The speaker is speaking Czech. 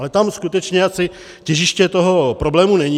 Ale tam skutečně asi těžiště toho problému není.